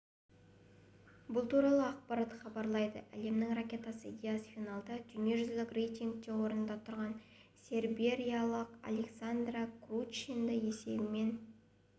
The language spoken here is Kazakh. бұл туралы ақпарат хабарлайды әлемнің ракеткасы диас финалда дүниежүзілік рейтингте орында тұрған сербиялық александра круничті есебімен